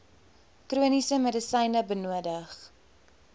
chroniese medisyne benodig